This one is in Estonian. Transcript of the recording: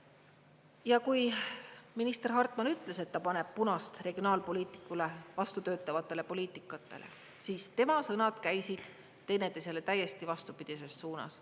Ja kui minister Hartman ütles, et ta paneb punast regionaalpoliitikale vastu töötavatele poliitikatele, siis tema sõnad käisid teineteisele täiesti vastupidises suunas.